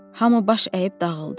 Hamı baş əyib dağıldı.